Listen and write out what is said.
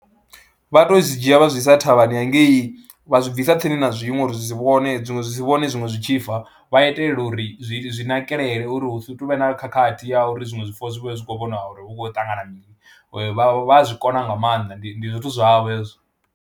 Vha tou zwi dzhia vha zwi i sa thavhani hangei vha zwi bvisa tsini na zwiṅwe uri zwi si vhone zwiṅwe zwi si vhone zwiṅwe zwi tshi fa, vha itela uri zwi zwi nakelele uri hu si tu vha na khakhathi ya uri zwiṅwe zwifuwo zwi vhe zwi khou vhona uri hu khou ṱangana mini, vha vha a zwi kona nga maanḓa ndi ndi zwithu zwavho hezwo.